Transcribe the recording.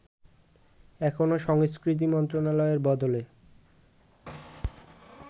এখনো সংস্কৃতি মন্ত্রণালয়ের বদলে